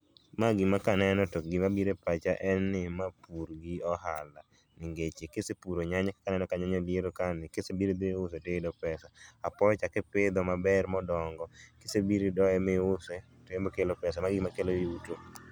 Ma gima kaneno to gima biro e pacha en ni ma pur gi ohala. Nengeche kisepuro nyanya kaka aneno ka nyanya biro ka ni, kisebiro idhi iuse tiyudo pesa. Apoyo cha kipidho maber modongo, kisebiri doye miuse to embe okelo pesa, magi e gik makelo yuto.